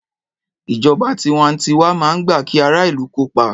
Ìjọba tiwantiwa máa ń gbà kí ara ìlù kópa.